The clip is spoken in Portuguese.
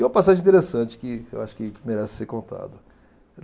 E uma passagem interessante que eu acho que merece ser contada.